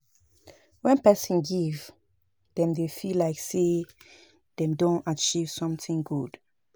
When person give dem dey feel like sey dem don achieve something good